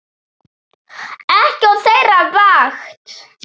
Ekki á þeirra vakt.